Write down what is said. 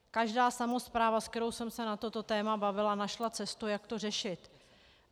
Každá samospráva, se kterou jsem se na toto téma bavila, našla cestu, jak to řešit.